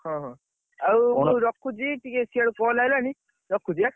ହଁ ହଁ, ଆଉ ମୁଁ, ରଖୁଛି ଟିକେ ସିଆଡୁ call ଆଇଲାଣି, ରଖୁଛି ଏଁ?